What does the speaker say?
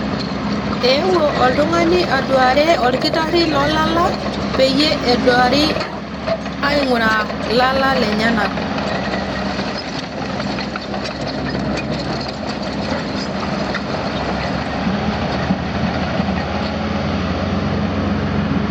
Eewuo oltungani aduaare olkitari loolala peyie eduari ainguraa ilala lenyenak